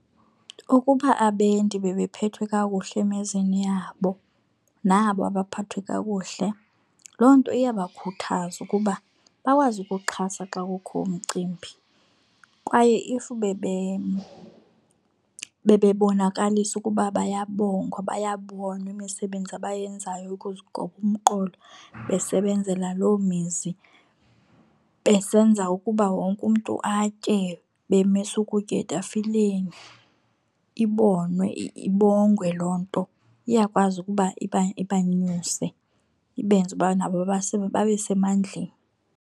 Ukuba abendi bebephethwe kakuhle emizini yabo nabo baphathwe kakuhle loo nto iyabakhuthaza ukuba bakwazi ukuxhasa xa kukho imicimbi. Kwaye if bebebonakalisa ukuba bayabongwa bayabonwa imisebenzi abayenzayo ukuzigoba umqolo besebenzela loo mizi besenza ukuba wonke umntu atye bemisa ukutya etafileni, ibonwe ibongwe loo nto iyakwazi ukuba ibanyuse ibenze uba nabo babe semandleni.